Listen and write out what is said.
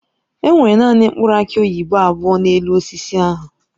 Enwere naanị mkpụrụ aki oyibo abụọ n'elu osisi ahụ.